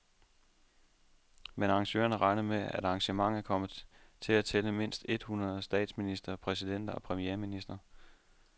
Men arrangørerne regner med, at arrangementet kommer til at tælle mindst et hundrede statsministre, præsidenter og premierministre.